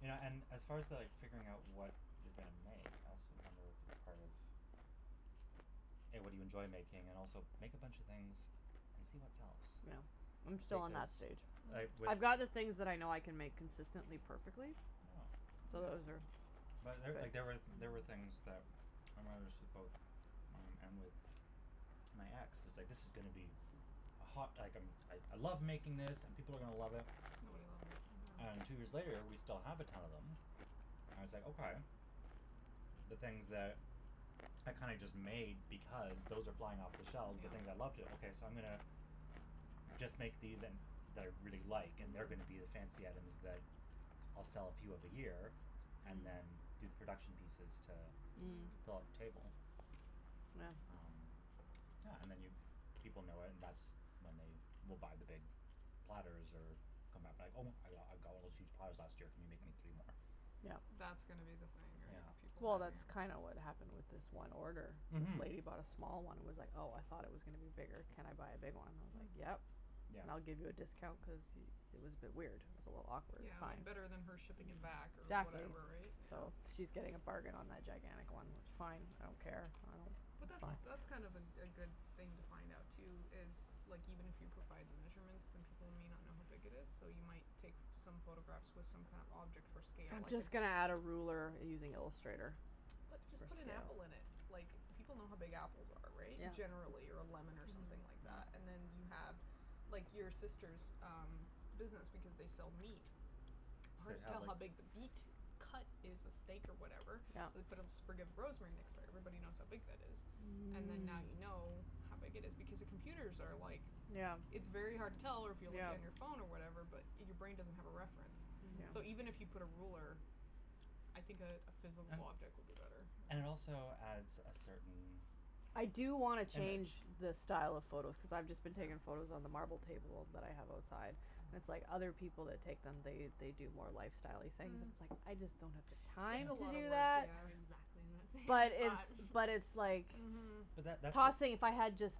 You know, and as far to like figuring out what you're gonna make I also wonder if it's part of A, what do you enjoy making and also make a bunch of things and see what sells. Yeah. Yeah. I'm still on Because that stage. like, Mm. with I'd rather things that I know I can make consistently perfectly. Yeah. So those But are, there, like, big there were, there were things that Mm. mom and with my ex, it was like "this is gonna be a hot" like a "I I love making this, and people are gonna love it." Nobody loves it. And two years later we still have a ton of them. And it's like, okay. The things that are kinda just made because, those are flying off the shelves the Yeah. things I love to, okay so I'm gonna just make these and, that I really like, and they're Mhm. gonna be the fancy items that I'll sell a few of a year and then Mhm. do the production pieces to Mm. Mm. fill up table. Yeah. Um Yeah, and then you, people know it and that's when they will buy the big platters, or come back be like, "Oh I got, I got one of those huge platters last year, can you make me three more?" Yeah. That's gonna be the thing, right? Yeah. People Well hogging that's Mhm. up kinda what happened with this one order. This Mhm. lady bought a small one and was like "Oh, I thought it was gonna be bigger, can I buy a big one?" I was like, Mm. "Yep, Yeah. and I'll give you a discount" cuz y- it was a bit weird. It was a little awkward Yeah, and better than her shipping it back or Mhm. Exactly. whatever, right? So Yeah. she's getting a bargain on that gigantic one. Fine, I don't care, I don't, But that's that's fine. Oh. that's kind of a a good thing to find out, too is, like even if you provide the measurements, then people might not know how big it is. Though you might take f- some photographs with some kind of object for scale I'm like an just gonna add a ruler using Illustrator Put, just for put an scale. apple in it! Like, people know how big apples are, right? Generally, or a lemon or something Mhm. like that. Yeah. And then you have, like, your sister's um business, because they sell meat. They'd Hard to have tell like how big the beat cut is a steak or whatever. So Yep. we put a sprig of rosemary next to it, everybody knows how big that is. And then now Mm. you know how big it is, because the computers are like Yeah. It's very hard to tell, or if you're looking at your Yeah. phone or whatever, but your brain doesn't have a reference, so even if you Mm. put a ruler I think a a physal And object would be better. Yeah. And it also adds a certain I do wanna change image. the style of photos cuz I've just been Yeah. taking photos on the marble table that I have outside. It's like other people that take them, they they do more lifestyle-y things. Mm. It's like, Mm. I just don't have the It's time a Mm. to lotta do work, that. yeah. Exactly, I'm thinking But like it's that. But it's like Mhm. But that that's the Tossing, if I had just